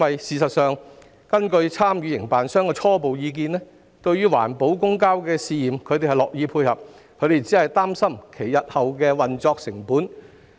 事實上，根據參與營辦商的初步意見，它們樂意配合試驗環保公交，但擔心日後的運作成本。